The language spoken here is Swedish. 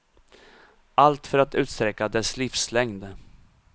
Allt för att utsträcka dess livslängd.